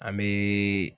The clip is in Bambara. An bɛ